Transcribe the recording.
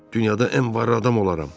Dünyada ən varlı adam olaram.